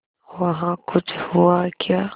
वहाँ कुछ हुआ क्या